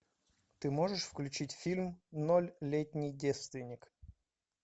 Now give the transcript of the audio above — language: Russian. ты можешь включить фильм ноль летний девственник